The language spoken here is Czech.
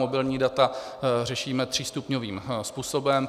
Mobilní data řešíme třístupňovým způsobem.